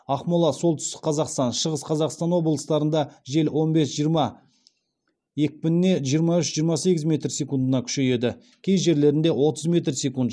ақмола солтүстік қазақстан шығыс қазақстан облыстарында жел он бес жиырма екпініне жиырма үш жиырма сегіз метр секундына күшейеді кей жерлерінде отыз метр секунд